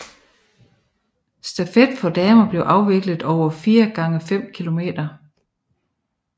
Stafet for damer bliver afviklet over 4 gange 5 km